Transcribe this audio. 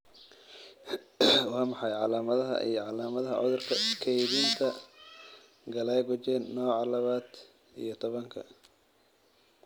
Waa maxay calaamadaha iyo calaamadaha cudurka kaydinta Glycogen nooca laba iyo tobanka?